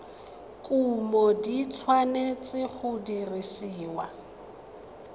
kumo di tshwanetse go dirisiwa